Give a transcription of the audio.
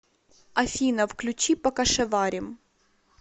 афина включи покашеварим